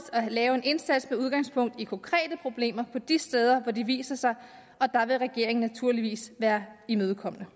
at lave en indsats med udgangspunkt i konkrete problemer på de steder hvor de viser sig og der vil regeringen naturligvis være imødekommende